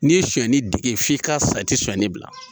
N'i ye suɲɛni dege f'i ka sa i tɛ sɔnni bila